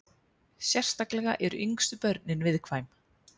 Sérstaklega eru yngstu börnin viðkvæm.